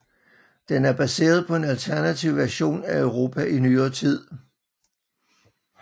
Den er baseret på en alternativ version af Europa i Nyere tid